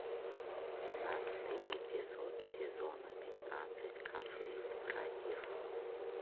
двенадцатый эпизод сезона пятнадцать конфликт братьев